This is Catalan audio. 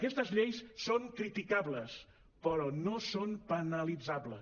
aquestes lleis són criticables però no són penalitzables